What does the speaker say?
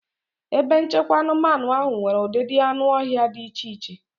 Ebe nchekwa anụmanụ ahụ nwere ụdịdị anụ ọhịa dị iche iche.